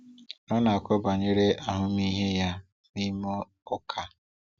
Ọ na-akọ banyere ahụmịhe ya n’ime ụka.